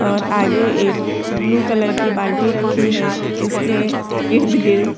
और आगे एक ब्लू कलर की बाल्टी रखी है इसके इर्द गिर्द --